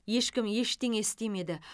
ешкім ештеңе істемеді